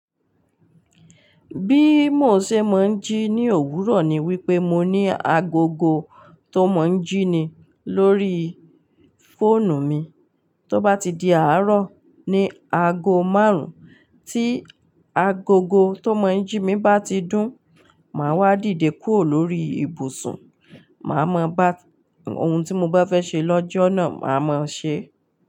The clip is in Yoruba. Bí mo ṣe máa ń jí ní òwúrọ̀ ni wípé mo ní agogo tó máa ń jí ni lórí fóònù mi, tó bá ti di àárọ̀ ní aago márùn-ún, tí agogo tó máa ń jí mi bá ti dún, màá wá dìde kúrò lórí ibùsùn, màá maa. Ohun tí mo bá fẹ́ ṣe lọ́jọ́ náà, màá mọ ṣe.